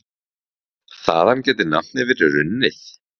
Þaðan gæti nafnið verið runnið.